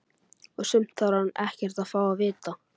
Og sumt þarf hún ekkert að fá að vita.